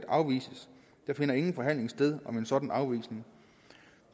afvises der finder ingen forhandling sted om en sådan afvisning